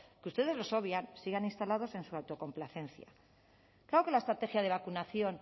que ustedes los obvian sigan instalados en su autocomplacencia claro que la estrategia de vacunación